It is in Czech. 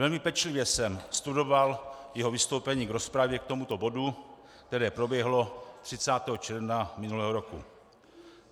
Velmi pečlivě jsem studoval jeho vystoupení k rozpravě k tomuto bodu, které proběhlo 30. června minulého roku.